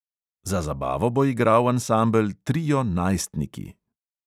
Za zabavo bo igral ansambel trio najstniki.